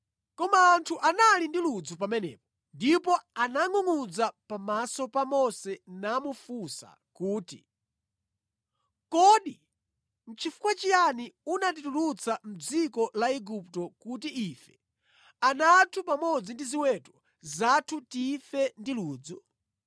Koma anthu anali ndi ludzu pamenepo ndipo anangʼungʼudza pamaso pa Mose namufunsa kuti, “Kodi nʼchifukwa chiyani unatitulutsa mʼdziko la Igupto kuti ife, ana athu pamodzi ndi ziweto zathu tife ndi ludzu?”